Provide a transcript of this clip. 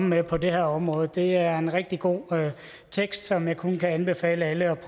med på det her område det er en rigtig god tekst som jeg kun kan anbefale alle